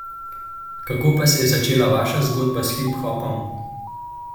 Kako pa se je začela vaša zgodba s hiphopom?